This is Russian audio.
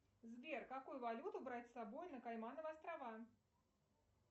сбер какую валюту брать с собой на каймановы острова